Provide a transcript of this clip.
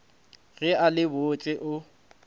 ge a le botse o